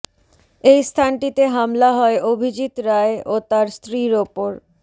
এই স্থানটিতে হামলা হয় অভিজিৎ রায় ও তার স্ত্রীর ওপর